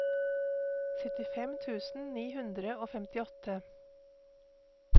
syttifem tusen ni hundre og femtiåtte